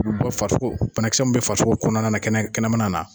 farisoko, banakisɛ mnnu bɛ farisoko kɔnɔna kɛnɛ kɛnɛmana na.